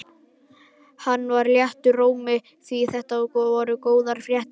Hann var léttur í rómi því þetta voru góðar fréttir.